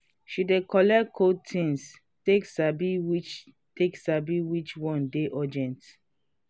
she dey color code things take sabi which take sabi which one dey urgent.